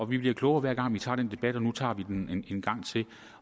vi bliver klogere hver gang vi tager den debat og nu tager vi den en gang til og